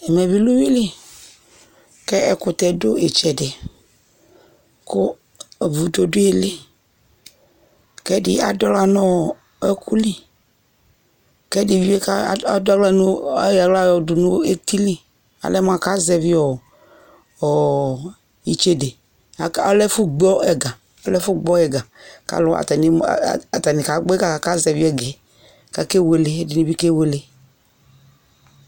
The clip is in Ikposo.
Ɛmɛ bɩ lɛ uyui li k'ɛ ɛkʋtɛ dʋ ɩtsɛdɩ Kʋ vudo dʋ ɩɩlɩ, k'ɛdɩ adʋaɣla n'ɔɔ ɔɔkʋ li, k'ɛdɩ bɩ ka adʋaɣla nʋ ayɔ aɣla yɔdʋ neti li Alɛ mʋaka zɛvɩ ɔɔ ɔɔ itsede Aka ɔlɛ ɛfʋ gbɔ ɛga ɔlɛ ɛfʋ gbɔ ɛga, k'alʋ atanɩ kagbɔ ɛga kakazɛvɩ ɛgɛ, k'akewele ɛdɩnɩ bɩ kewele